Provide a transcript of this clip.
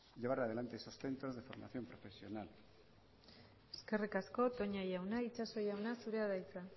llevar adelante esos centros de formación profesional eskerrik asko toña jauna itxaso jauna zurea da hitza